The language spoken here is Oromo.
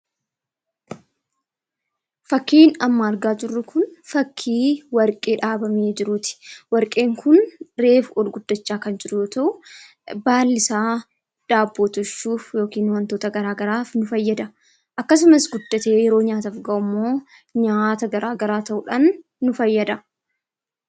Fakkiin amma argaa jirru kun fakkii warqee dhaabamee jiruuti. Warqeen kun reefu olguddachaa kan jiru yoo ta'u, baallisaa daabboo tolchuuf yookaan wantoota garaagaraaf nu fayyada. Akkasumas guddatee yeroo nyaataaf gahummoo nyaata garaagaraa ta'uudhaan nu fayyada.